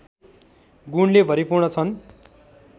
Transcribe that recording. गुणले भरिपूर्ण छन्